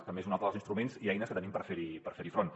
també és un altre dels instruments i eines que tenim per fer hi front